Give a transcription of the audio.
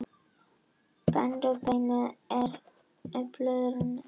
Annar endi viðbeina er tengdur við bringubeinið en hinn við herðablöðin.